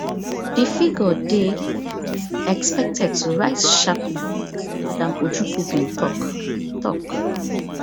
di figure dey expected to rise sharply madam ojukwu bin tok tok